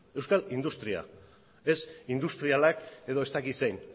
euskal industria ez industrialak edo ez dakit zein